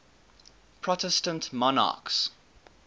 protestant monarchs